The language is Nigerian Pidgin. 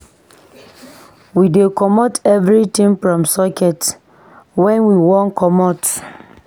We dey comot everytin from socket wen we wan comot.